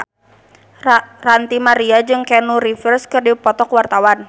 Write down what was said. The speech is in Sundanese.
Ranty Maria jeung Keanu Reeves keur dipoto ku wartawan